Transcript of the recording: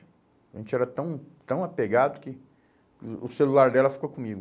A gente era tão tão apegado que o celular dela ficou comigo.